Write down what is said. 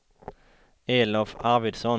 Elof Arvidsson